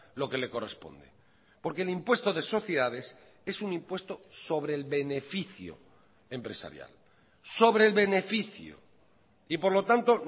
lo que le corresponde porque el impuesto de sociedades es un impuesto sobre el beneficio empresarial sobre el beneficio y por lo tanto